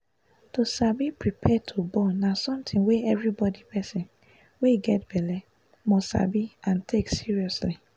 to sabi prepare to born na something wey everybody person wey get belle must sabi and take seriously